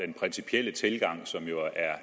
principielle tilgang som jo er